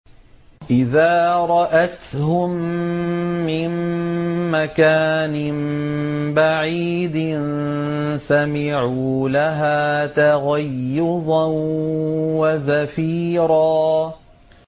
إِذَا رَأَتْهُم مِّن مَّكَانٍ بَعِيدٍ سَمِعُوا لَهَا تَغَيُّظًا وَزَفِيرًا